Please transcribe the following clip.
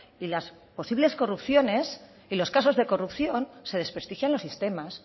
y las posibles corrupciones y los casos de corrupción se desprestigian los sistemas